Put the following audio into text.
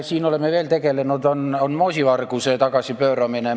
Veel oleme siin tegelenud moosivarguse tagasipööramisega.